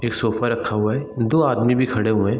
एक सोफा रखा हुआ है दो आदमी भी खड़े हुए।